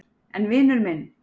En vinur minn.